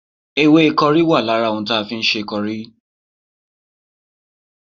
Ewé kọrí wà lára ohun tí a fi ń ṣe kọrí